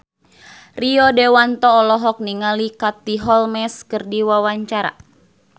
Rio Dewanto olohok ningali Katie Holmes keur diwawancara